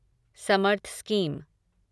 Samarth scheme